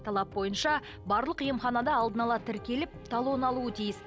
талап бойынша барлық емханада алдын ала тіркеліп талон алуы тиіс